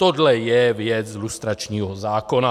Tohle je věc lustračního zákona.